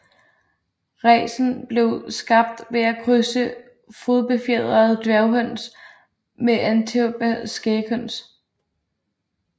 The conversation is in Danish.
Racen blev skabt ved at krydse fodbefjerede dværghøns med Antwerpener Skæghøns